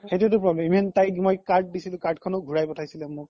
সেইতো problem ইমান মই তাইক card দিছিলো card খনও ঘুৰাই পথাইছ্হিলে মোক